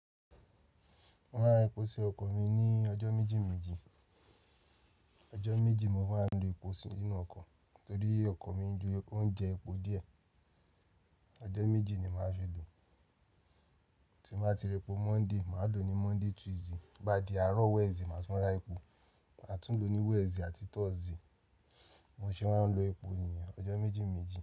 Mo máa ń ra epo sí ọkọ̀ mi ní ọjọ́ méjì méjì. Ọjọ́ méjì mo máa ń ra epo sínú ọkọ̀ torí ọkọ̀ mi ń jo epo on jẹ epo díẹ̀. Ọjọ́ méjì ni màá fi lò. Tí n bàá ti ra ẹpo Monday, màá lò ní Monday Tuesday. Tobá di àárọ̀ Wednesday, màá tún ra epo, màá tún lò ní Wednesday àti Thursday. Bimo ṣé máa ń lo epo nìyẹn ọjọ́ méjì méjì.